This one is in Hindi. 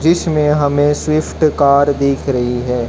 जिसमें हमें स्विफ्ट कार दिख रही है।